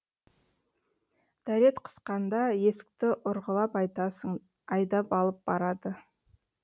дәрет қысқанда есікті ұрғылап айтасың айдап алып барады